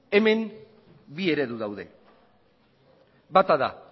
hemen bi eredu daude bata da